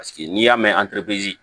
Paseke n'i y'a mɛn